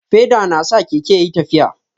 Feda na sa Keke ya ƴi tafiya.